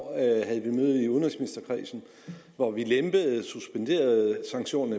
havde vi møde i udenrigsministerkredsen hvor vi lempede og suspenderede sanktioner